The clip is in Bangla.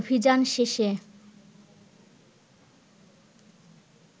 অভিযান শেষে